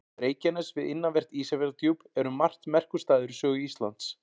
Reykjanes við innanvert Ísafjarðardjúp er um margt merkur staður í sögu Íslands.